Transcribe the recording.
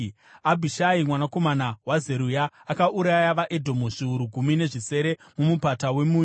Abhishai mwanakomana waZeruya akauraya vaEdhomu zviuru gumi nezvisere muMupata weMunyu.